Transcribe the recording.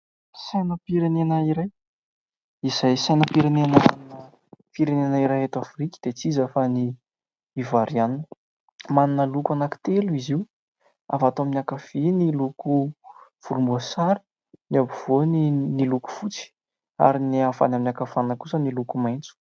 Sainam-pirenena iray, izay Sainam-pirenena ny firenena iray eto afrika dia tsy iza fa ny Ivoarianina. Manana loko telo izy io : avy ato amin'ny ankavia ny loko volomboasary, ny afovoany ny loko fotsy ary avy any ankavanana kosa ny loko maitso.